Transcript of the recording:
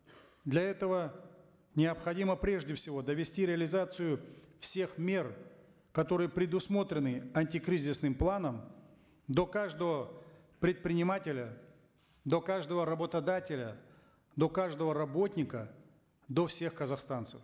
для этого необходимо прежде всего довести реализацию всех мер которые предусмотрены антикризисным планом до каждого предпринимателя до каждого работодателя до каждого работника до всех казахстанцев